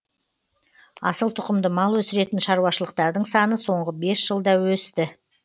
асыл тұқымды мал өсіретін шаруашылықтардың саны соңғы бес жылда